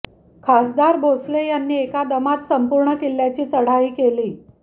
खासदार भोसले यांनी एका दमात संपूर्ण किल्ल्याची चढाई केली